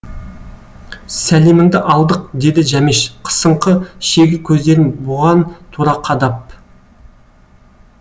сәлеміңді алдық деді жәмеш қысыңқы шегір көздерін бұған тура қадап